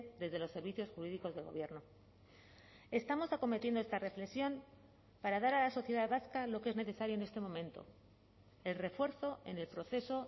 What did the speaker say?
desde los servicios jurídicos del gobierno estamos acometiendo esta reflexión para dar a la sociedad vasca lo que es necesario en este momento el refuerzo en el proceso